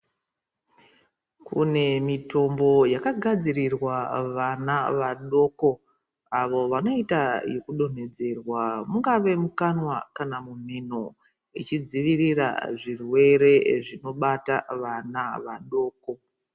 Kune mitombo yakagadzirirwa vana vadoko avo vanoita yekudonhedzerwa mungave mukanwa kana mumhino ichidzivirira zvirwere zvinobata vana vadoko